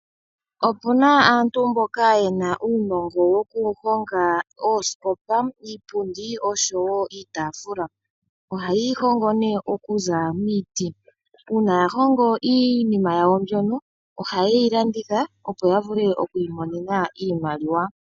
Opuna aantu mboka yena uunongo wokuhonga oosikopa, Iipundi noshowoo iitaafula. Ohaye yi hongo okuza miiti . Uuna ya hongo iinima yawo mbyono , ohayeyi landitha opo yavule okwiimonena iimaliwa .